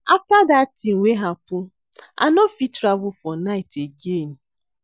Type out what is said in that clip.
After dat thing wey happen I no dey fit travel for night again